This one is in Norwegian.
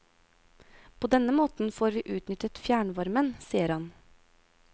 På denne måten får vi utnyttet fjernvarmen, sier han.